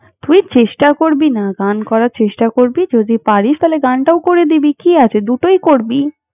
তুই চেষ্টা করবি না, গান করার চেষ্টা করবি যদি পারিস, তালে গানটাও করে দিবি। কি আছে, দুটোই করবি।